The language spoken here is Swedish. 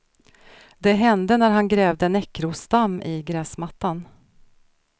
Det hände när han grävde näckrosdamm i gräsmattan.